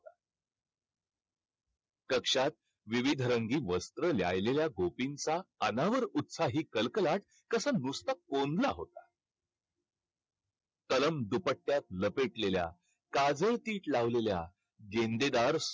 कक्षात विविध रंगी वस्त्रं ल्यालेल्या गोपींचा अनावर उत्साही कलकलाट कसं नुसता कोंडला होता. दुपट्ट्यात लपेटलेल्या काजळ पीठ लावलेल्या